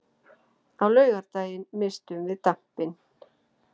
Á laugardaginn misstum við dampinn.